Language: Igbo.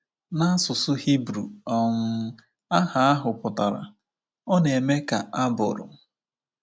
N’asụsụ Hibru um aha ahụ pụtara “Ọ Na-eme Ka A Bụrụ.”